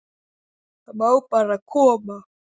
Það má bara koma.